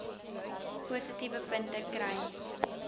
positiewe punte kry